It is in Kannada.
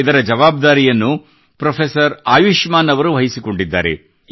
ಇದರ ಜವಾಬ್ದಾರಿಯನ್ನು ಪೆÇ್ರಫೆಸರ್ ಆಯುಷ್ಮಾನ್ ಅವರು ವಹಿಸಿಕೊಂಡಿದ್ದಾರೆ